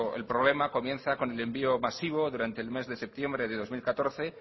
el problema comienza con el envío masivo durante el mes de septiembre de dos mil catorce